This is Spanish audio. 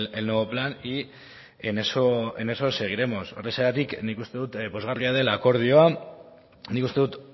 el nuevo plan y en eso seguiremos horrexegatik nik uste dut pozgarria del akordioa nik uste dut